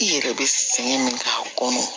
I yɛrɛ be sɛgɛn min k'a kɔnɔ